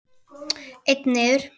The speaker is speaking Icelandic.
Einn niður!